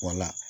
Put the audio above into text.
Wala